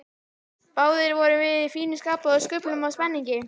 Báðir vorum við í fínu skapi og skulfum af spenningi.